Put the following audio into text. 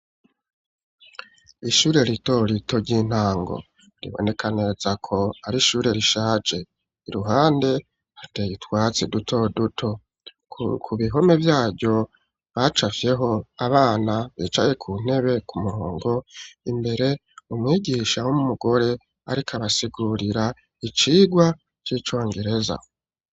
Ishure rito rito ry'intango riboneka neza ko ari ishure rishaje, iruhande hateye utwatsi duto duto, ku bihome vyaryo bacafyeho abana bicaye ku ntebe ku murongo, imbere umwigisha w'umugore ariko abasigurira icigwa c'icongereza.